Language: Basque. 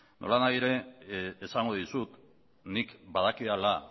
nolanahi ere esango dizut nik badakidala